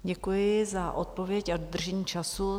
Děkuji za odpověď a dodržení času.